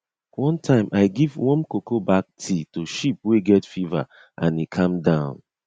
one time i give warm cocoa bark tea to sheep wey get fever and e calm down